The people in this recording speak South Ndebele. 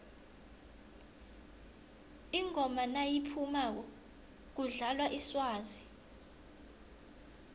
ingoma nayiphumako kudlalwa iswazi